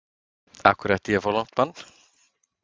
Af hverju ætti ég að fá langt bann?